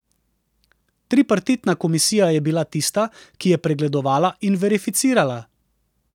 Tripartitna komisija je bila tista, ki je pregledovala in verificirala.